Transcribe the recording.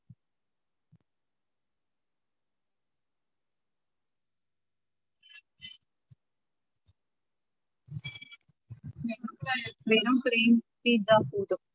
வெறும் plain pizza போதும்